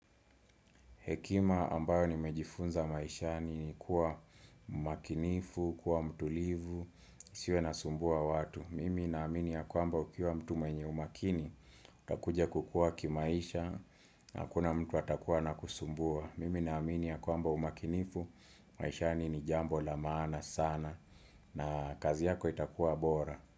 Hekima ambayo nimejifunza maishani ni kuwa umakinifu, kuwa mtulivu, nisiwe nasumbua watu. Mimi na amini ya kwamba ukiwa mtu mwenye umakini, utakuja kukua kimaisha, na hakuna mtu atakuwa anakusumbua. Mimi na amini ya kwamba umakinifu, maishani ni jambo la maana sana, na kazi yako itakuwa bora.